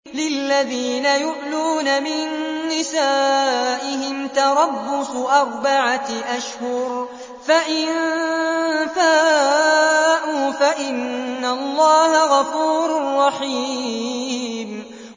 لِّلَّذِينَ يُؤْلُونَ مِن نِّسَائِهِمْ تَرَبُّصُ أَرْبَعَةِ أَشْهُرٍ ۖ فَإِن فَاءُوا فَإِنَّ اللَّهَ غَفُورٌ رَّحِيمٌ